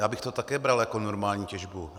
Já bych to také bral jako normální těžbu.